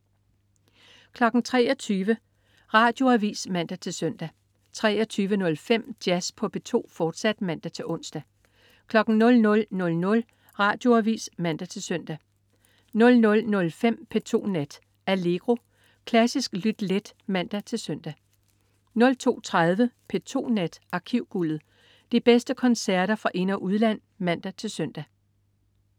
23.00 Radioavis (man-søn) 23.05 Jazz på P2, fortsat (man-ons) 00.00 Radioavis (man-søn) 00.05 P2 Nat. Allegro. Klassisk lyt let (man-søn) 02.30 P2 Nat. Arkivguldet. De bedste koncerter fra ind- og udland (man-søn)